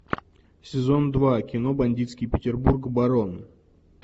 сезон два кино бандитский петербург барон